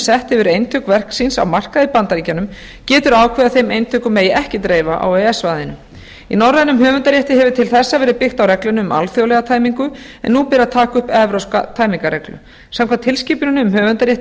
sett hefur eintök verks síns á markaði í bandaríkjunum getur ákveðið að þeim eintökum megi ekki dreifa á e e s svæðinu í norrænum höfundarétti hefur til þessa verið byggt á reglunni um alþjóðlega tæmingu en nú ber að taka upp evrópska tæmingarreglu samkvæmt tilskipuninni um höfundarrétt í